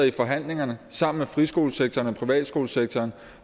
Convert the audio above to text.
i forhandlingerne sammen med friskolesektoren og privatskolesektoren